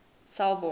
selborne